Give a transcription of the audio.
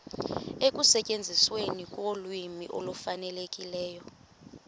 ekusetyenzisweni kolwimi olufanelekileyo